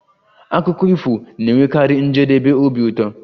Akụkọ ifo na-enwekarị njedebe obi ụtọ